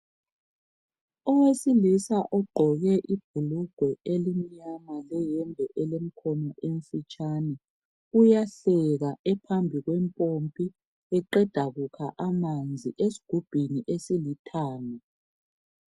Owesilisa ogqoke ibhulugwe elimnyama leyembe elemkhono emfitshane, uyahleka ephambi kwempompi eqeda kukha amanzi esigubhini esilithanga.